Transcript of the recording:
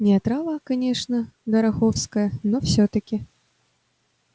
не отрава конечно дороховская но всё-таки